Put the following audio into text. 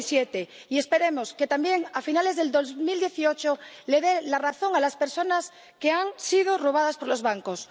2017. Y esperemos que también a finales del 2018 les dé la razón a las personas que han sido robadas por los bancos.